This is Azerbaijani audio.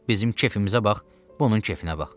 Bizim kefimizə bax, bu onun kefinə bax.